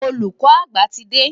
Olùkọ́ àgbà ti dé.